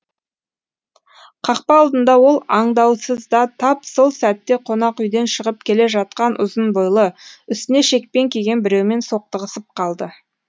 қақпа алдында ол аңдаусызда тап сол сәтте қонақүйден шығып келе жатқан ұзын бойлы үстіне шекпен киген біреумен соқтығысып қалды